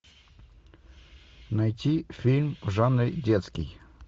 найти фильм в жанре детский